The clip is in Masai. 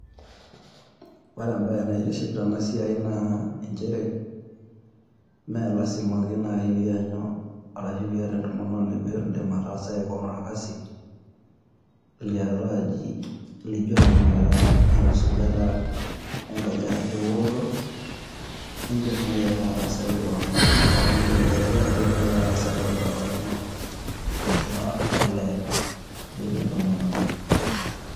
Ore ebae neitiship tena siai naa enchere, Maa lasima ake nayii ashu pee iyanyu entomononi pee eyasaki keon orkasi laijio tanakata enkisujata engaji ashu eworoto, eedim naaji ake ataasaki keon ashu iidim ake ataasaki kewan too Nkaik enonok ira olee emetii entomononi.